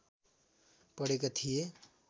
पढेका थिए